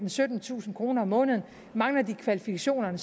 syttentusind kroner om måneden mangler de kvalifikationerne